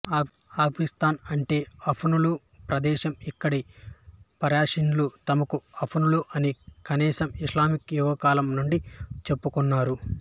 ఆఫ్ఘనిస్తాన్ అంటే ఆఫ్ఘనుల ప్రదేశం ఇక్కడి పర్షియన్లు తమను ఆఫ్ఘనులు అని కనీసం ఇస్లామిక్ యుగకాలం నుండి చెప్పుకొన్నారు